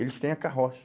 Eles têm a carroça.